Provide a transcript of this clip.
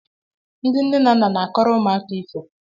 Ndi nne na nna na-akọrọ ụmụaka ifo